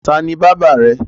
Ta ni bábà rẹ?